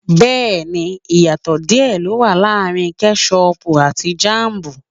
Bẹ́ẹ̀ni ìyàtò díè ló wà láàrin ketṣ-uuupu àti jámù